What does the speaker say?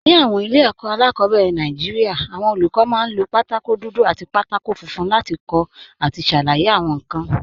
Ní àwọn ilé ẹ̀kọ́ alákọ̀ọ́bẹ̀rẹ̀ Nàìjíríà, àwọn olùkọ́ máa ń lo pátákó dúdú àti pátákó láti kọ àti ṣàlàyé àwọn nǹkan.